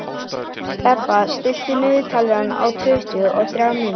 Bebba, stilltu niðurteljara á tuttugu og þrjár mínútur.